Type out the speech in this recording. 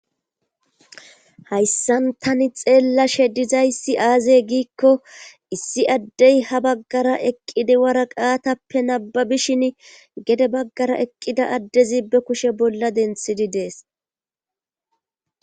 Hayssan tani xeellashe dizayssi aazey giikko issi addey ha baggara eqqidi wara qaatappe nabbabishin gede baggara eqqida addezi be kushe bolla denthidi dees.